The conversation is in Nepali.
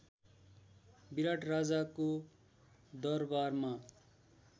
विराट राजाको दरवारमा